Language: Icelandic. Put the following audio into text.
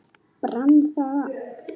Brann það allt?